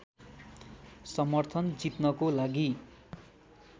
समर्थन जित्नको लागि